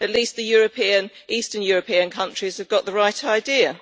At least the eastern European countries have got the right idea.